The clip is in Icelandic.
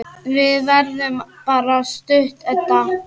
Við verðum bara stutt, Edda.